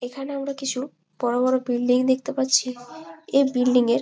এখানে আমরা কিছু বড়ো বড়ো বিল্ডিং দেখতে পাচ্ছি এই বিল্ডিং এর--